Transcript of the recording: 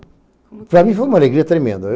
Para mim foi uma alegria tremenda.